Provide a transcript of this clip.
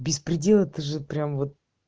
беспредел это же прям вот